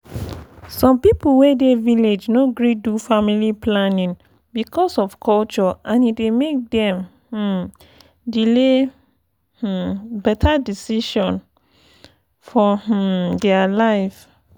some people wey dey village no gree do family planning because of culture and e dey make dem um delay um beta decision for um dia life